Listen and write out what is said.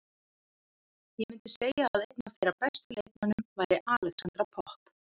Ég myndi segja að einn af þeirra bestu leikmönnum væri Alexandra Popp.